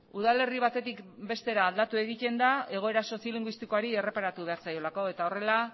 udalerri batetik bestera aldatu egiten da egoera soziolinguistikoari erreparatu behar zaiolako eta horrela